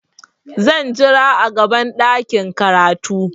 Zan jira a gaban ɗakin karatu.